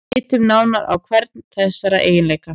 Lítum nánar á hvern þessara eiginleika.